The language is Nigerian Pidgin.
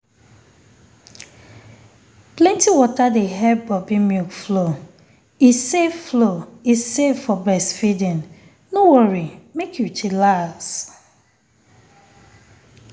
plenti water dey help boobi milk flow e safe flow e safe for breastfeeding no worry mek you chillax